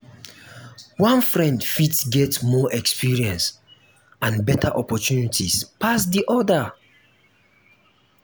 one friend fit get more experience and better opportunities pass di other